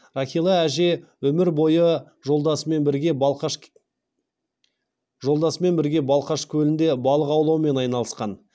рахила әже өмір бойы жолдасымен бірге балқаш көлінде балық аулаумен айналысқан